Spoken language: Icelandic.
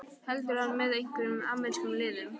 Heldur hann með einhverjum amerískum liðum?